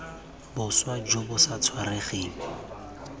boswa jo bo sa tshwaregeng